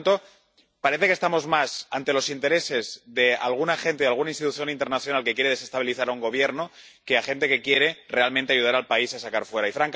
Por lo tanto, parece que estamos más ante los intereses de alguna gente, de alguna institución internacional que quiere desestabilizar un Gobierno, que ante gente que quiere realmente ayudar al país a salir adelante.